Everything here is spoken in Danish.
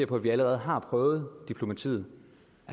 på at vi allerede har prøvet diplomatiet